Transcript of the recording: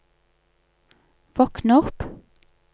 våkn opp